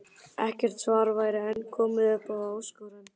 Ekkert svar væri enn komið upp á þá áskorun.